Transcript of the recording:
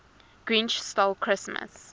grinch stole christmas